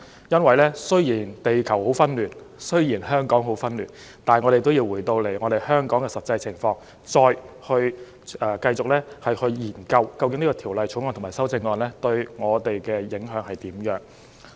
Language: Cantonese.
因為雖然地球很紛亂、香港很紛亂，但我們也要回到香港的實際情況，繼續研究《條例草案》和修正案對我們的影響為何。